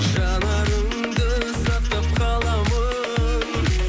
жанарыңды сақтап қаламын